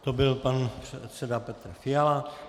To byl pan předseda Petr Fiala.